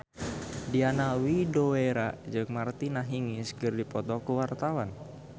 Diana Widoera jeung Martina Hingis keur dipoto ku wartawan